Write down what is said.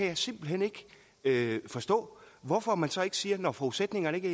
jeg simpelt hen ikke forstå hvorfor man så ikke siger når forudsætningerne ikke